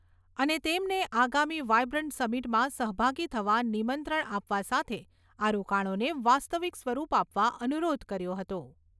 અને તેમને આગામી વાયબ્રન્ટ સમિટમાં સહભાગી થવા નિમંત્રણ આપવા સાથે આ રોકાણોને વાસ્તવિક સ્વરૂપ આપવા અનુરોધ કર્યો હતો.